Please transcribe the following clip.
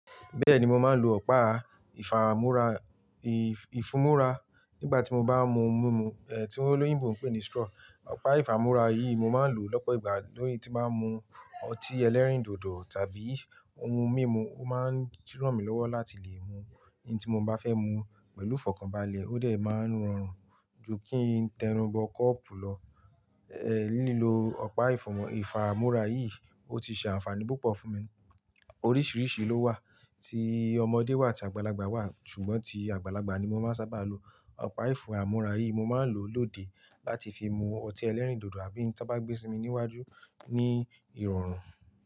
Bẹ́ẹ̀ni mo máa ń lo ọ̀pá ìfàmú́ra, ì-ìfúmúrá nígbà tí mo bá mú mímu, ẹ́ tí olóyìnbo ń pè ní straw. Ọ̀pá ìfàmú́ra yìí mo máa ń lò lọ́pọ̀ ìgbà lórí tí máa ń mu ọtí ẹlẹ́rìndòdò tàbí ohun mímu. Ó máa ń túnràn mi lọ́wọ́ láti lè mu eyin tí mo bá fẹ́ mu pẹ̀lú ìfọ̀kànbalẹ̀, ó dẹ̀ máa ń rọrùn ju kí n tẹnubọ kọ́ọ̀pù lọ. Ẹ̀ lílo ọ̀pá ìfàmú́ra yìí ó ti ṣe ànfàní púpọ̀ fún mi. Oríṣìíríṣìí ló wà, ti ọmọdé wà àti àgbàlagbà wà, ṣùgbọ́n ti àgbàlagbà ni mo máa ń sábà lo. Ọ̀pá ìfàmú́ra yìí mo máa ń lò lóde láti fi mu ọtí ẹlẹ́rìndòdò àbí tí wọ́n bá gbé sí mi níwájú ní ìrọ̀rùn.